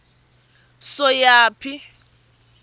soyaphi